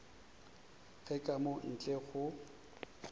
ge ka mo ntle go